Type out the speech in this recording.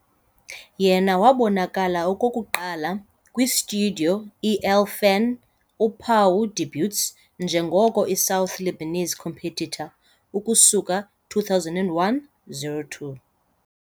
Yena wabonakala okokuqala kwi - Studio El-Fan uphawu debuts njengoko i - South Lebanese competitor ukusuka 2001-02.